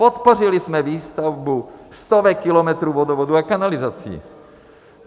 Podpořili jsme výstavbu stovek kilometrů vodovodů a kanalizací.